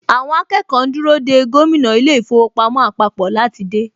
Àwọn akẹ́kọ̀ọ́ ń dúró dè gómìnà ilé īfowòpamó àpapò láti dé.